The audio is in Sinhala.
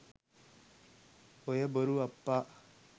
ඔය බොරු අප්පා